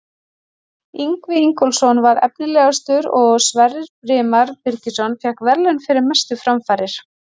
Ingvi Ingólfsson var efnilegastur og Sverrir Brimar Birkisson fékk verðlaun fyrir mestu framfarir.